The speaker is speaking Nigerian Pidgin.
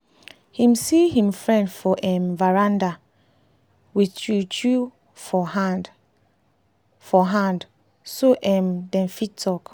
him see him friend for um veranda with chew chew for hand for hand so um dem fit talk